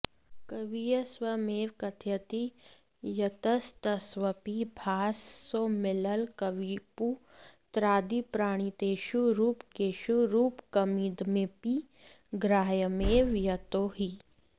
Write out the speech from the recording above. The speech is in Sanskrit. कविः स्वयमेव कथयति यत्सत्स्वपि भाससौमिल्लकविपुत्रादिप्रणीतेषु रूपकेषु रूपकमिदमपि ग्राह्यमेव यतो हि